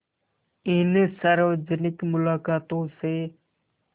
इन सार्वजनिक मुलाक़ातों से